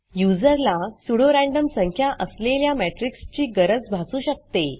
युजरला pseudo random संख्या असलेल्या matrixमेट्रिक्स ची गरज भासू शकते